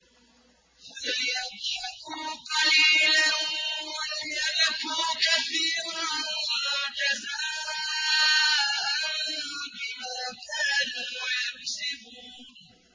فَلْيَضْحَكُوا قَلِيلًا وَلْيَبْكُوا كَثِيرًا جَزَاءً بِمَا كَانُوا يَكْسِبُونَ